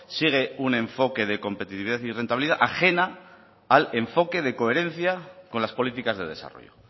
sigue un enfoque de competitividad y rentabilidad ajena al enfoque de coherencia con las políticas de desarrollo